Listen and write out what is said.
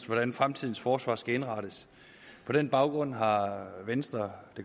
hvordan fremtidens forsvar skal indrettes på den baggrund har venstre